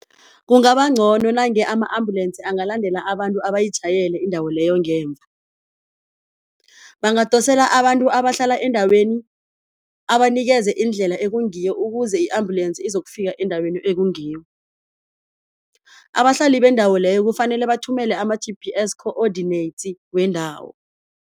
Kungaba ncono nange ama-ambulensi angalandela abantu abayijayele indawo leyo ngemva, bangadosela abantu abahlala endaweni abanikeze indlela ekungiyo ukuze i-ambulensi izokufika endaweni ekungiyo. Abahlali bendawo leyo kufanele bathumele ama-G_P_S coordinates wendawo.